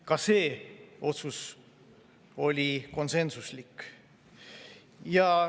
Ka see otsus oli konsensuslik.